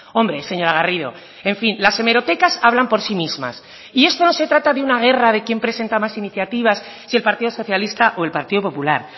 hombre señora garrido en fin las hemerotecas hablan por sí mismas y esto no se trata de una guerra de quién presenta más iniciativas si el partido socialista o el partido popular